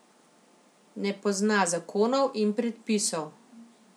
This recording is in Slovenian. Ne pozna zakonov in predpisov.